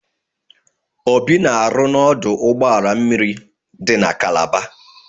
Obi na-arụ n'ọdụ ụgbọ mmiri dị na Kalaba.